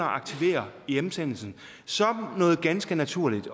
at aktivere hjemsendelsen som noget ganske naturligt